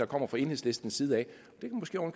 kommer fra enhedslistens side af